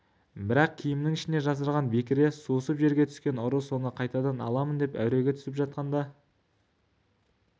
бірақ киімінің ішіне жасырған бекіре сусып жерге түскен ұры соны қайтадан аламын деп әуреге түсіп жатқанда